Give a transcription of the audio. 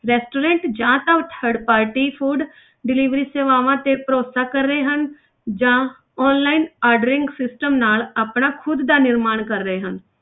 Restaurant ਜਾਂ ਤਾਂ third party food delivery ਸੇਵਾਵਾਂ ਤੇ ਭਰੋਸਾ ਕਰ ਰਹੇ ਹਨ ਜਾਂ online ordering system ਨਾਲ ਆਪਣਾ ਖੁੱਦ ਦਾ ਨਿਰਮਾਣ ਕਰ ਰਹੇ ਹਨ।